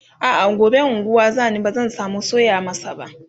a'a gobe unguwa zani bazan samu soya masa ba